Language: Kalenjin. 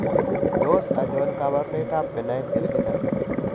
Tos achon kabarunaik ab Benign hereditary?